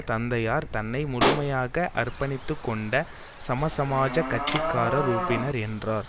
தந்தையார் தன்னை முழுமையாக அர்ப்பணித்து கொண்ட சமசமாஜக் கட்சி காரர் உறுப்பினர் என்றார்